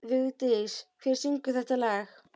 Vigdís, hver syngur þetta lag?